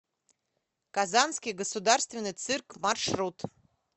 казанский государственный цирк маршрут